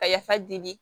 Ka yafa deli